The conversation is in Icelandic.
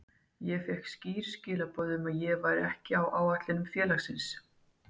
Ég fékk skýr skilaboð um að ég væri ekki áætlunum félagsins.